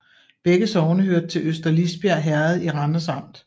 Begge sogne hørte til Øster Lisbjerg Herred i Randers Amt